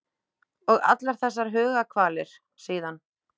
Og allar þessar hugarkvalir síðan.